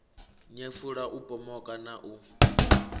nyefula u pomoka na u